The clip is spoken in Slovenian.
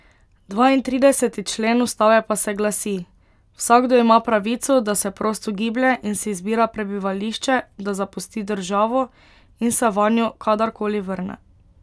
Dvaintrideseti člen ustave pa se glasi: 'Vsakdo ima pravico, da se prosto giblje in si izbira prebivališče, da zapusti državo in se vanjo kadarkoli vrne.